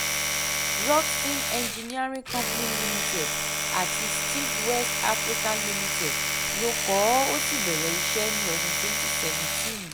rockson engineering company limited àti steag west africa limited ló kọ́ ọ ó sì bẹ̀rẹ̀ iṣẹ́ ní ọdún twenty seventeen